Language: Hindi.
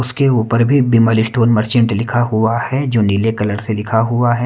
उसके ऊपर भी विमल स्टोअर मर्चेंट लिखा हुआ है जो नीले कलर से लिखा हुआ है।